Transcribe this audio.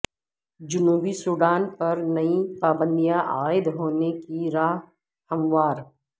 جنوبی سوڈان پر نئی پابندیاں عائد ہونے کی راہ ہموار